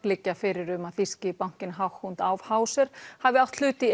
liggja fyrir um að þýski bankinn Hauck og Aufhäuser hafi átt hlut í